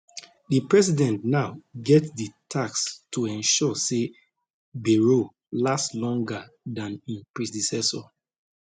di president now get di task to ensure say bayrou last longer dan im predecessor